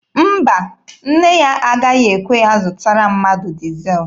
Mba, nne ya agaghị ekwe ya zụtara mmadụ dizel.